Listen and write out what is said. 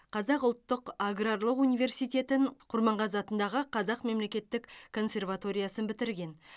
қазақ ұлттық аграрлық университетін құрманғазы атындағы қазақ мемлекеттік консерваториясын бітірген